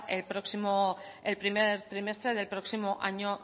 el primer trimestre del próximo año